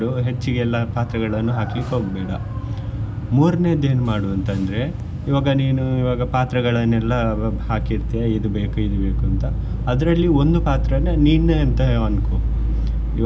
ಹೆಚ್ಚಿಗೆಲ್ಲ ಪಾತ್ರಗಳನ್ನು ಹಾಕ್ಲಿಕ್ಕೆ ಹೋಗ್ಬೇಡ ಮೂರ್ನೆದ್ದು ಏನ್ ಮಾಡ್ ಅಂತಂದ್ರೆ ಈವಾಗ ನೀನು ಈವಾಗ ಪಾತ್ರಗಳನ್ನೆಲ್ಲ ಹಾಕಿ ಇಡ್ತಿಯಾ ಇದ್ ಬೇಕ್ ಇದ್ ಬೇಕ್ ಅಂತ ಅದ್ರಲ್ಲಿ ಒಂದು ಪಾತ್ರನಾ ನೀನೆ ಅಂತ ಅನ್ಕೊ.